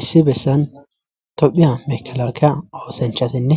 issi bessan tophiya mekalakea oosanchatinne